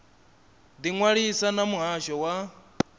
ḓi ṅwalisa na muhasho wa